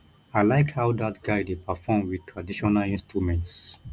i like how dat guy dey perform with traditional instruments